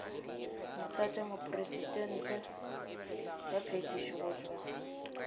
motlatšamopresidente wa phethišo go tšwa